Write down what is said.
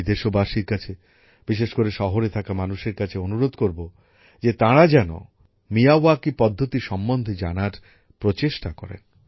আমি দেশবাসীর কাছে বিশেষ করে শহরে থাকা মানুষের কাছে অনুরোধ করব যে তারা যেন মিয়াওয়াকি পদ্ধতি সম্বন্ধে জানার প্রচেষ্টা করেন